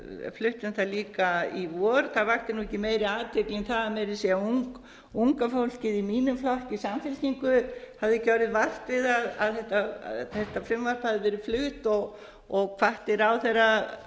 fluttum það líka í vor það vakti ekki meiri athygli en það að meira að segja unga fólkið i mínum flokki samfylkingu hafði ekki orðið vart við það að þetta frumvarp hafði verið flutt og hvatti ráðherra